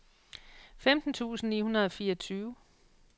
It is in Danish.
femten tusind ni hundrede og fireogtyve